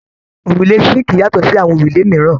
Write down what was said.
Òrùlé síǹkì yàtọ̀ sí àwọn òrùlé mìíràn.